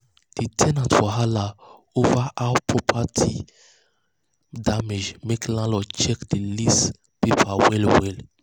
the ten ant wahala over how property over how property damage make landlord check the lease paper well well.